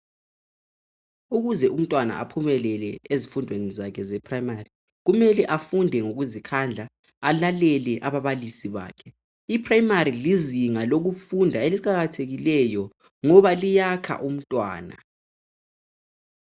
Ukuze umntwana aphumelele ezifundweni zakhe ze primary .Kumele afunde ngokuzikhandla alalele ababalisi bakhe .Iprimary lizinga lokufunda eliqakathekileyo ngoba liyakha umntwana .